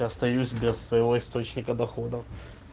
я остаюсь без своего источника доходов